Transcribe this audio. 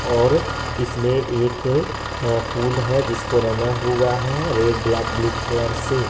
और इसमें एक पुल है जिसको रंगा हुआ है रेड ब्लैक ब्लू कलर से--